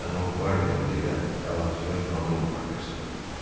Mənim qvardiyam da elə əlahəzrət kralın qvardiyasıdır.